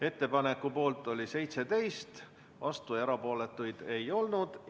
Ettepaneku poolt oli 17 Riigikogu liiget, vastuolijaid ja erapooletuid ei olnud.